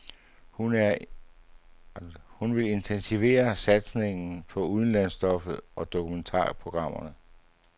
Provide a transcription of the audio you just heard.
Hun vil intensivere satsningen på udlandsstoffet og dokumentarprogrammerne.